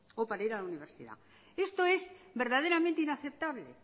o para ir a la universidad esto es verdaderamente inaceptable